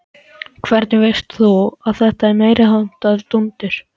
Hvernig veist þú að þetta er meiriháttar dúndur?